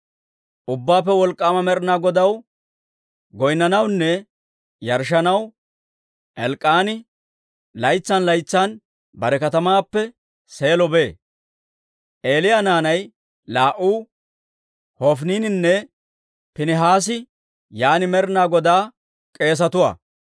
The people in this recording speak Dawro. Ubbaappe Wolk'k'aama Med'inaa Godaw goynnanawunne yarshshanaw Elk'k'aani laytsan laytsan bare katamaappe Seelo bee. Eeli naanay laa"u, Hofiniininne Piinihaasi yaan Med'inaa Godaa k'eesetuwaa.